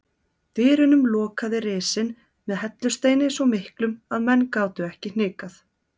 Dyrunum lokaði risinn með hellusteini svo miklum að menn gátu ekki hnikað.